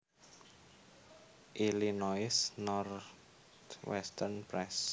Illinois Northwestern Press